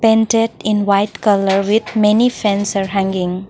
painted in white colour with many fans are hanging.